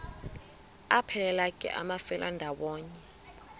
aphelela ke amafelandawonye